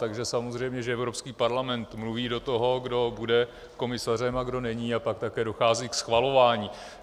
Takže samozřejmě že Evropský parlament mluví do toho, kdo bude komisařem a kdo není, a pak také dochází ke schvalování.